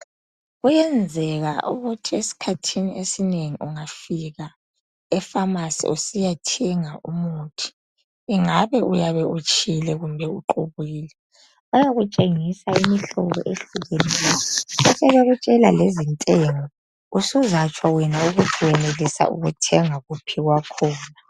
Kuyenzeka ukuthi esikhathini esinengi ungafika epharmarcy usiyathenga umuthi ungabe uyabe utshile kumbe uqubukile bayakutshengisa imihlobo ehlukeneyo bekutshela lezintengo usingatsho wena ukuthi uyenelisa ukuthenga kuphi kwakhona